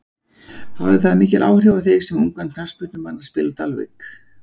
Hafði það mikil áhrif á þig sem ungan knattspyrnumann að spila á Dalvík?